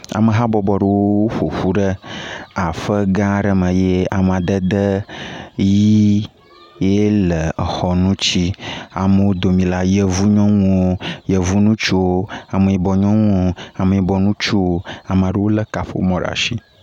Ame hã bɔbɔ aɖe ƒoƒu ɖe aƒe gã aɖe me ye amedede ɣi ye le aƒea ŋuti. Le amewo domi la, yevu nyɔnuwo, yevu ŋutsuwo, ame yibɔ nyɔnuwo, ame yibɔ ŋutsuwo. Ame aɖewo le kaƒomɔ ɖe asi.